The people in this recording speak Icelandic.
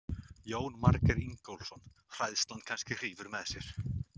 Jónas Margeir Ingólfsson: Hræðslan kannski hrífur með sér?